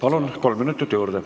Palun, kolm minutit juurde!